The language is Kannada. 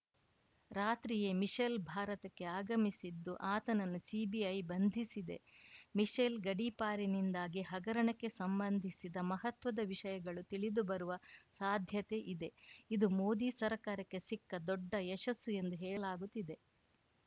ರಾತ್ರಿಯೇ ಮಿಶೆಲ್‌ ಭಾರತಕ್ಕೆ ಆಗಮಿಸಿದ್ದು ಆತನನ್ನು ಸಿಬಿಐ ಬಂಧಿಸಿದೆ ಮಿಶೆಲ್‌ ಗಡೀಪಾರಿನಿಂದಾಗಿ ಹಗರಣಕ್ಕೆ ಸಂಬಂಧಿಸಿದ ಮಹತ್ವದ ವಿಷಯಗಳು ತಿಳಿದುಬರುವ ಸಾಧ್ಯತೆ ಇದೆ ಇದು ಮೋದಿ ಸರ್ಕಾರಕ್ಕೆ ಸಿಕ್ಕ ದೊಡ್ಡ ಯಶಸ್ಸು ಎಂದು ಹೇಳಲಾಗುತ್ತಿದೆ